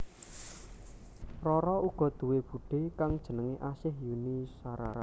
Rara uga duwé budhé kang jenengé Asih Yuni Shara